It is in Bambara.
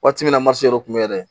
Waati min na marifa tun bɛ yɛrɛ